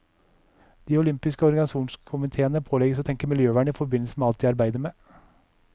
De olympiske organisasjonskomiteene pålegges å tenke miljøvern i forbindelse med alt de arbeider med.